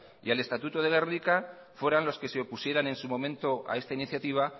y el estatuto de gernika fueran los que se opusieran en su momento a esta iniciativa